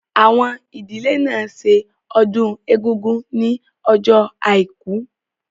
Àwọn ìdílé náà ṣe ọdún Egúngún ní ọjọ́ àìkú